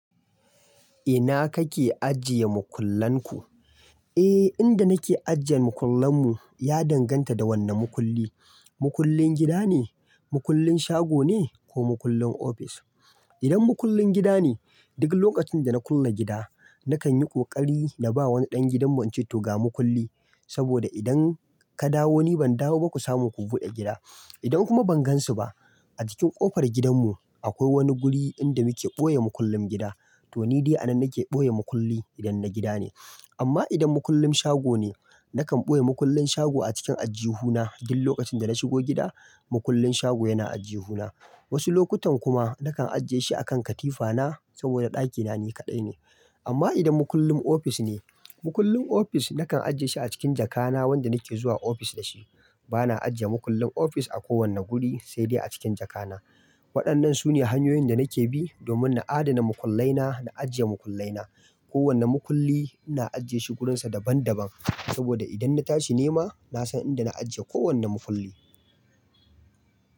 Ina kake ajiye makullan ku? Eh, inda nake ajiye makullan mu ya danganta da wanne makulli. Makullin gida ne, makullin shago ne ko makullin ofis. Idan makullin gida ne, duk lokacin da na kulle gida nakan yi ƙoƙari na ba wani ɗan gidanmu in ce to ga makulli" saboda idan ka dawo ni ban dawo ba ku samu ku buɗe gida. Idan kuma ban gansu ba a cikin ƙofar gidanmu akwai wani guri inda muke ɓoye makullin gida to ni dai a nan nake ɓoye makulli idan na gida ne. Amma idan makullin shago ne nakan ɓoye makullin shago a cikin ajjuhu na duk lokacin da na shigo gida makullin shago yana ajjuhu na. Wasu lokutan kuma nakan ajiye shi a kan katifa na saboda ɗakina ni kaɗai ne. Amma idan makullin ofis ne, makullin ofis nakan ajiye shi a cikin jaka na wanda nake zuwa ofis da shi. Bana ajiye makullin ofis a kowane guri sai dai a cikin jaka na. Waɗannan sune hanyoyin da nake bi domin na adana makullai na na ajiye makullai na. Kowane makulli ina ajiye shi wurinsa daban daban saboda idan na tashi nema nasan inda na ajiye kowane makulli.